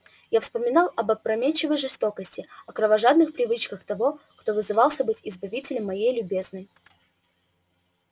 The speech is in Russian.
я вспоминал об опрометчивой жестокости о кровожадных привычках того кто вызывался быть избавителем моей любезной